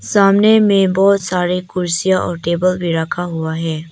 सामने में बहुत सारी कुर्सियां और टेबल भी रखा हुआ है।